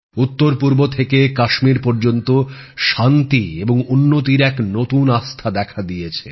উত্তর পূর্ব থেকে থেকে কাশ্মীর পর্যন্ত শান্তি এবং উন্নতির এক নতুন আস্থা দেখা দিয়েছে